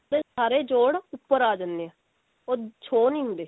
ਸਾਰੇ ਜੋੜ ਉੱਪਰ ਆ ਜਾਂਦੇ ਨੇ ਉਹ show ਨਹੀਂ ਹੁੰਦੇ